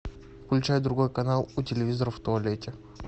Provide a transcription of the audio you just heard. включай другой канал у телевизора в туалете